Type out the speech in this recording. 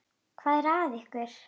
Hvað er að ykkur?